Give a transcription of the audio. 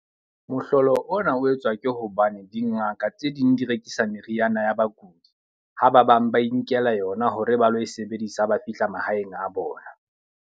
Mohlolo ona o etswa ke hobane dingaka tse ding di rekisa meriana ya bakudi. Ha ba bang ba inkela yona hore ba lo e sebedisa ba fihla mahaeng a bona.